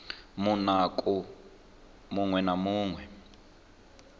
munukho muṅwe na muṅwe u